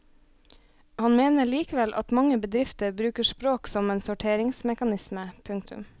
Han mener likevel at mange bedrifter bruker språk som en sorteringsmekanisme. punktum